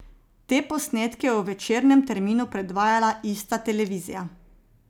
Te posnetke je v večernem terminu predvajala ista televizija.